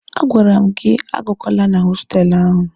A gwara m gị agakwala na hostelụ ahụ!